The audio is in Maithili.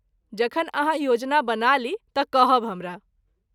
जखन अहाँ योजना बना ली तँ कहब हमरा।